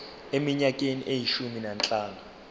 eminyakeni eyishumi nanhlanu